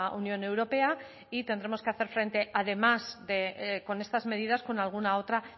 unión europea y tendremos que hacer frente además de con estas medidas con alguna otra